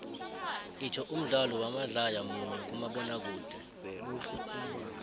itsho umdlalo wamadlaya munye kumabonakude